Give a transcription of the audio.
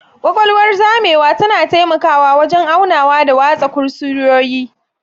Ƙaƙwalwar zamewa tana taimakawa wajen aunawa da watsa kusurwoyi.